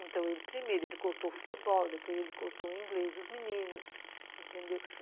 Então, ele primeiro, ele cortou o futebol, depois ele cortou o inglês, os meninos, entendeu?